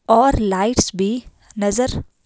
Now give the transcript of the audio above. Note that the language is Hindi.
और लाइट्स बी नज़र--